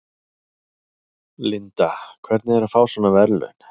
Linda: Hvernig er að fá svona verðlaun?